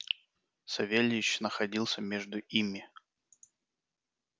савельич находился между ими